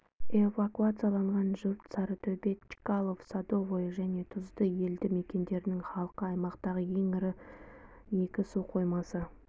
эвакуацияланған жұрт сарытөбе чкалов садовое және тұзды елді мекендерінің халқы аймақтағы ең ірі екі су қоймасы